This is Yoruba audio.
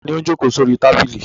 Ta ni ó ń jókòó sórí tábìlì?